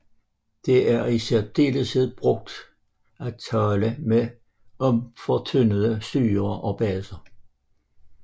Det er i særdeleshed brugt at tale om fortyndede syrer og baser